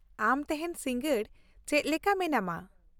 ᱟᱢ ᱛᱮᱦᱮᱧ ᱥᱤᱸᱜᱟᱹᱲ ᱪᱮᱫ ᱞᱮᱠᱟ ᱢᱮᱱᱟᱢᱟ ?